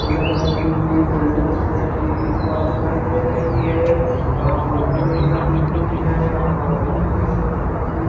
Yellow colour की वे buildings paint की गई दीवाल दिखाई दे रही है। यहाँ पे लकड़ी रखी हुई है। यहाँ पर उल्लू जैसे बने हुए --